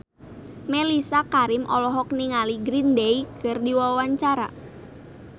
Mellisa Karim olohok ningali Green Day keur diwawancara